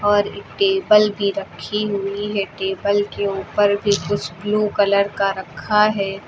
और टेबल भी रखी हुई है टेबल के ऊपर भी कुछ ब्लू कलर का रखा है।